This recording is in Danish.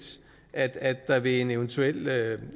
at der ved en eventuel